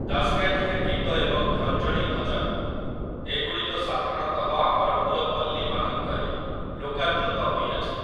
ଦାସକାଠିଆ ଗୀତ ଏବଂ ଖଞ୍ଜଣି ଭଜନ, ଏଗୁଡ଼ିକ ସାଧାରଣତଃ ଆମର ପୁରପଲ୍ଲୀମାନଙ୍କରେ ଲୋକାଦୃତ ହୋଇଅଛି ।